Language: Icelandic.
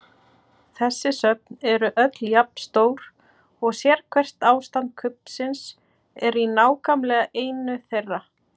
Þessi söfn eru öll jafn stór og sérhvert ástand kubbsins er í nákvæmlega einu þeirra.